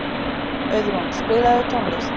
Auðrún, spilaðu tónlist.